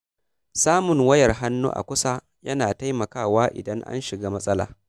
Samun wayar hannu a kusa yana taimakawa idan an shiga matsala.